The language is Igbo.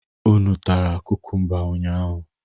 Unu tara kukumba ụnyaahụ?